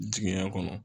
Jigiɲɛ kɔnɔ